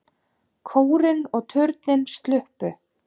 Kórinn og turninn sluppu.